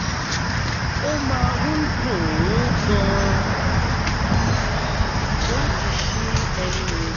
ó máa ń dùn ún gan-an láti ṣí ẹnu mi